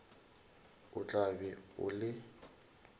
o tla be o le